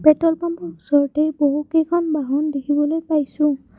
Petrol পাম্পৰ ওচৰতেই বহু কেইখন বাহন দেখিবলৈ পাইছোঁ।